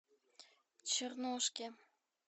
чернушке